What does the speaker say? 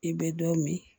I bɛ dɔ min